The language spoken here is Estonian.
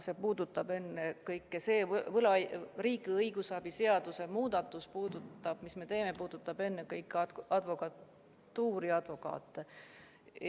See riigi õigusabi seaduse muudatus, mis me teeme, puudutab ennekõike advokatuuri advokaate.